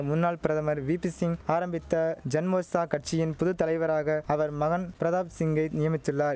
முன்னாள் பிரதமர் வீபிசிங் ஆரம்பித்த ஜன்மோர்ச்சா கட்சியின் புது தலைவராக அவர் மகன் பிரதாப் சிங்கை நியமித்துள்ளாய்